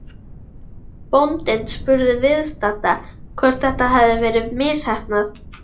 Bóndinn spurði viðstadda hvort þetta hefði verið misheppnað.